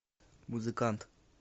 музыкант